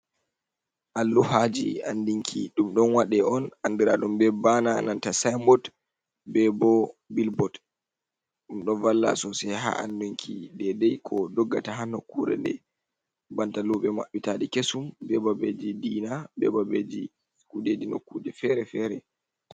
Alluhaji anndinki ɗum ɗon waɗe on anndiraaɗum be baana, nanta sayinbot, be bo bilbot, ɗum ɗo valla soosay haa anndinki deydey ko doggata, haa nokkure nde, banta luuɓe maɓɓitaaɗe kesum, be babeeji diina, be babeeji kuuɗe diina, kuje fere-fere.